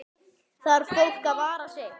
Þarf fólk að vara sig?